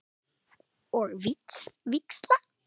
Og víxla?